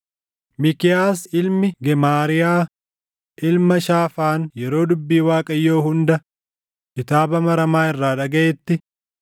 Miikiyaas ilmi Gemaariyaa ilma Shaafaan yeroo dubbii Waaqayyoo hunda kitaaba maramaa irraa dhagaʼetti,